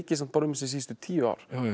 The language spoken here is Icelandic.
um þessi síðustu tíu ár